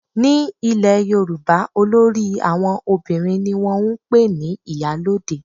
Ní ilẹ̀ yorùbá olórí àwọn obìnrin ni wọ́n ń pè ní ìyálóde